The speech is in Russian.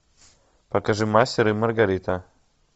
покажи мастер и маргарита